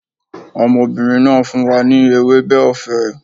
Ọmọbìnrin náà fún wa ní ewébẹ̀ ọ̀fẹ́